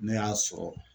Ne y'a sɔrɔ